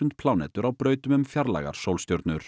plánetur á brautum um fjarlægar sólstjörnur